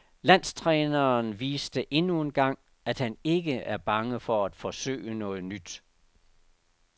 Landstræneren viste endnu engang, at han ikke er bange for at forsøge noget nyt.